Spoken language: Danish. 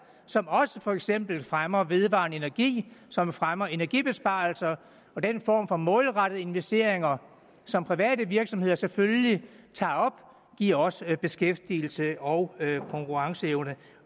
som også for eksempel fremmer vedvarende energi som fremmer energibesparelser og den form for målrettede investeringer som private virksomheder selvfølgelig tager op giver også beskæftigelse og konkurrenceevne